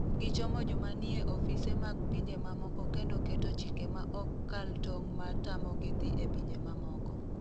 Gichomo joma nie ofise mag pinje mamoko kendo keto chike ma ok kal tong' ma tamogi dhi e pinje mamoko.